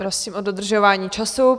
Prosím o dodržování času.